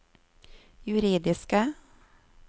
juridiske